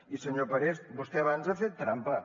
i senyor parés vostè abans ha fet trampa